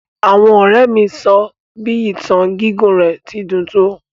Àwọn ọrẹ mi sọ bi ìtàn gigún rẹ ti dún to.